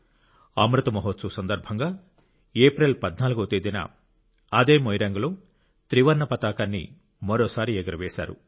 అమృత్ మహోత్సవ్ సందర్భంగా ఏప్రిల్ 14 వ తేదీన అదే మొయిరాంగ్లో త్రివర్ణ పతాకాన్ని మరోసారి ఎగురవేశారు